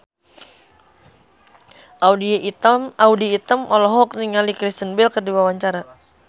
Audy Item olohok ningali Kristen Bell keur diwawancara